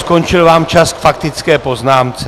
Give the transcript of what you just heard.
Skončil vám čas k faktické poznámce.